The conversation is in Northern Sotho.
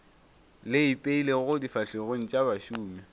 le ipeilego difahlegong tša bašomi